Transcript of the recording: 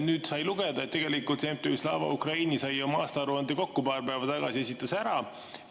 Nüüd sai lugeda, et tegelikult MTÜ Slava Ukraini sai oma aastaaruande kokku paar päeva tagasi, esitas ära.